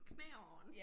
Knæene